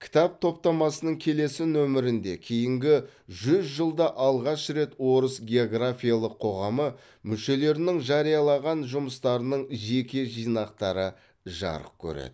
кітап топтамасының келесі нөмірінде кейінгі жүз жылда алғаш рет орыс географиялық қоғамы мүшелерінің жариялаған жұмыстарының жеке жинақтары жарық көреді